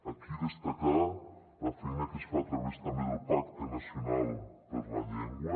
aquí destacar la feina que es fa a través també del pacte nacional per la llengua